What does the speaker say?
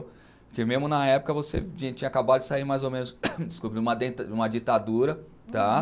Porque mesmo na época você tinha acabado de sair mais ou menos, desculpe, numa ditadura, tá?